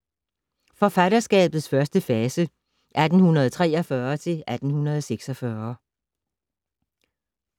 Forfatterskabets første fase (1843-1846)